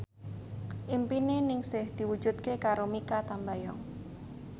impine Ningsih diwujudke karo Mikha Tambayong